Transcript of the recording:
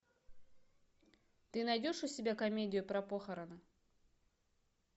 ты найдешь у себя комедию про похороны